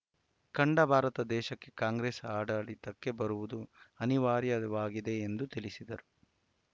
ಕಂಡ ಭಾರತ ದೇಶಕ್ಕೆ ಕಾಂಗ್ರೆಸ್‌ ಆಡಳಿತಕ್ಕೆ ಬರುವುದು ಅನಿವಾರ್ಯವಾಗಿದೆ ಎಂದು ತಿಳಿಸಿದರು